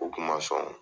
U kuma sɔn